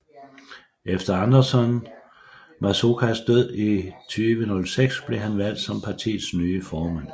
Efter Anderson Mazokas død i 2006 blev han valgt som partiets nye formand